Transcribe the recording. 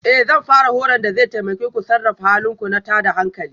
Ee Zan fara horon da zai taimake ku sarrafa halin ku na tada hankali